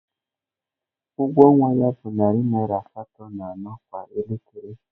Ụgwọ ọnwa ya bụ narị naira asatọ na anọ kwa elekere